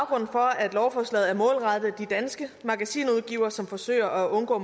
for at lovforslaget er målrettet de danske magasinudgivere som forsøger at undgå